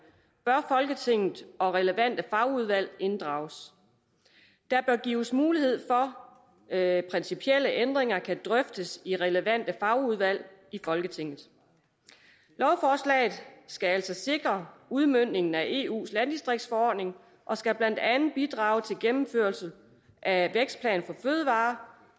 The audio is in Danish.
bør folketinget og relevante fagudvalg inddrages der bør gives mulighed for at principielle ændringer kan drøftes i relevante fagudvalg i folketinget lovforslaget skal altså sikre udmøntningen af eus landdistriktsforordning og skal blandt andet bidrage til gennemførelse af vækstplan for fødevarer